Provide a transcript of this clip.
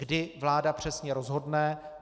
Kdy vláda přesně rozhodne?